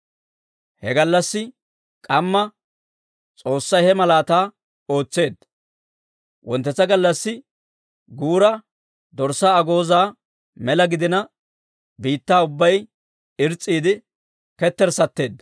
He gallassi k'amma S'oossay he malaataa ootseedda. Wonttetsa gallassi guura dorssaa agoozaa mela gidina, biittaa ubbay irs's'iide ketterssatteedda.